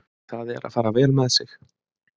Það er að fara vel með sig.